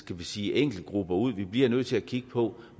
vi sige enkeltgrupper ud vi bliver nødt til at kigge på